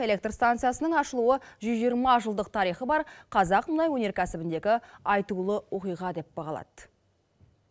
электр станциясының ашылуы жүз жиырма жылдық тарихы бар қазақ мұнай өнеркәсібіндегі айтулы оқиға деп бағалады